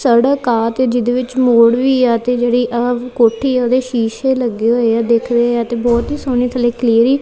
ਸੜਕ ਆ ਤੇ ਜਿਹਦੇ ਵਿੱਚ ਮੋੜ ਵੀ ਆ ਤੇ ਜਿਹੜੀ ਕੋਠੀ ਉਹਦੇ ਸ਼ੀਸ਼ੇ ਲੱਗੇ ਹੋਏ ਆ ਦੇਖ ਰਹੇ ਆ ਤੇ ਬਹੁਤ ਹੀ ਸੋਹਣੀ ਥੱਲੇ ਕਲੀ--